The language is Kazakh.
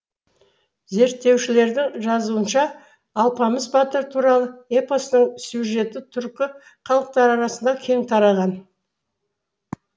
зерттеушілердің жазуынша алпамыс батыр туралы эпостың сюжеті түркі халықтары арасында кең тараған